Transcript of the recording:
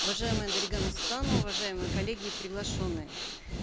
уважаемая дарига нурсултановна уважаемые коллеги и приглашенные